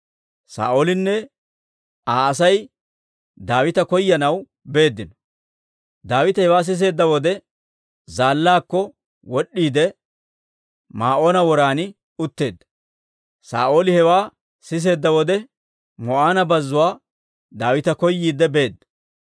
Saa'oolinne Aa Asay Daawita koyanaw beeddino. Daawite hewaa siseedda wode, zaallaakko wod'd'iide, Maa'oona woran utteedda. Saa'ooli hewaa siseedda wode Maa'oona bazzuwaa Daawita koyiidde beedda.